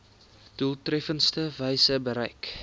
doeltreffendste wyse bereik